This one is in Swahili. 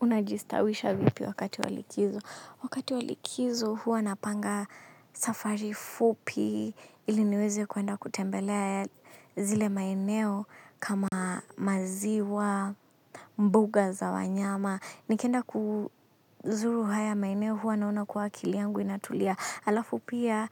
Unajistawisha vipi wakati wa likizo. Wakati wa likizo huwa napanga safari fupi kili niweze kuenda kutembelea zile maeneo kama maziwa mbuga za wanyama. Nikienda kuzuru haya maeneo huwa naona kuwa akili yangu inatulia. Halafu pia